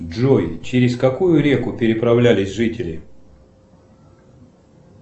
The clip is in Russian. джой через какую реку переправлялись жители